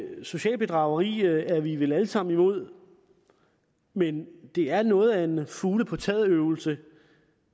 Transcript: socialt bedrageri er vi vel alle sammen imod men det er noget af en fugle på taget øvelse